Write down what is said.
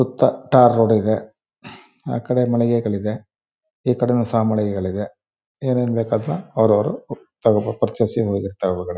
ಸುತ್ತ tar road ಇದೆ ಆ ಕಡೆ ಮನಳಿಗೆಗಳಿವೆ ಈ ಕಡೆ ನು ಸಹ ಮನಳಿಗೆಗಳಿವೆ ಏನೇನ್ ಬೇಕಾದ್ರು ಅವ್ರವ್ರುತಗೋಬಹುದು ಪುರ್ಚಸ್ ಗೆ ಹೋಗಿರ್ತ--